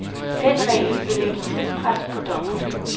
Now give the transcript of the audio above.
Den regel vil lægge tidspres på dommerne.